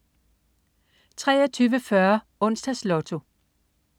23.40 Onsdags Lotto